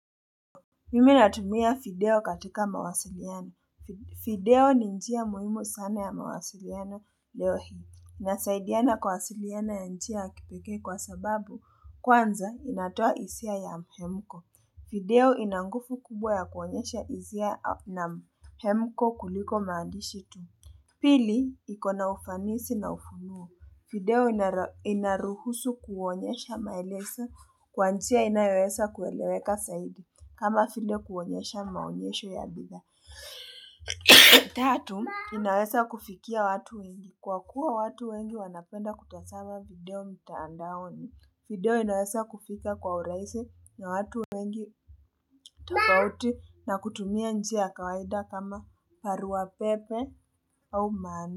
Mimi natumia fideo katika mawasiliano. Fideo ni njia muhimu sana ya mawasiliano leo hii. Nasaidiana kwasiliana ya njia ya kipekee kwa sababu kwanza inatoa isia ya mhemko. Fideo ina ngufu kubwa ya kuonyesha izia na mhemko kuliko maandishi tu. Pili, iko na ufanisi na ufunuo. Video inaruhusu kuonyesha maeleso kwa njia inayoweza kueleweka saidi. Kama file kuonyesha maonyesho ya bidhaa. Tatu, inaweza kufikia watu wengi. Kwa kuwa watu wengi wanapenda kutasama video mtaandaoni. Video inaweza kufika kwa uraisi na watu wengi. Tafauti na kutumia njia ya kawaida kama paruwa pepe au manu.